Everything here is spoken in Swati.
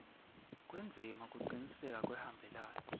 kwendzima kucinisekisa kuhambelana